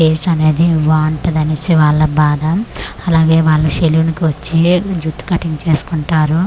Face అనేది బావుంటది అనేసి వాళ్ళ బాధ అలాగే వాళ్ళు సెలూన్ కి వచ్చీ జుట్టు కటింగ్ చేసుకుంటారు.